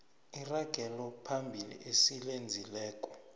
iragelo phambili esilenzileko